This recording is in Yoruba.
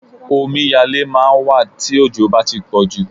Omiyalé máà ń wà tí òjò bá tí pọ̀jù.